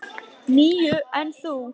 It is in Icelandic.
Ekki við þig.